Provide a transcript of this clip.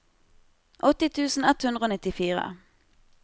åtti tusen ett hundre og nittifire